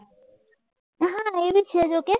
હા એબી છેજ okay